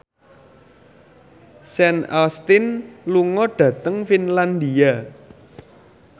Sean Astin lunga dhateng Finlandia